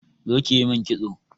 Zo ƙi ƴi min ƙitso.